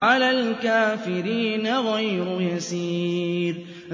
عَلَى الْكَافِرِينَ غَيْرُ يَسِيرٍ